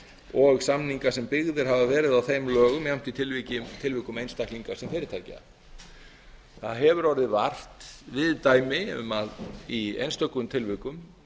og samninga sem byggðir hafa verið á þeim lögum jafnt í tilvikum einstaklinga sem fyrirtækja það hefur orðið vart við dæmi um að í einstökum tilvikum